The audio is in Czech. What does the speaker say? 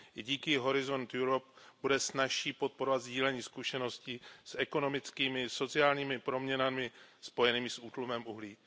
I díky Horizont Europe bude snazší podporovat sdílení zkušeností s ekonomickými a sociálními proměnami spojenými s útlumem těžby uhlí.